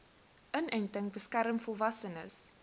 inenting beskerm volwassenes